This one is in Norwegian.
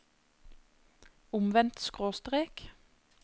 omvendt skråstrek